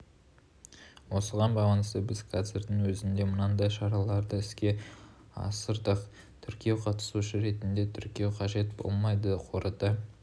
осыған байланысты біз қазірдің өзінде мынадай шараларды іске асырдық тіркеу қатысушы ретінде тіркеу қажет болмайды қорыта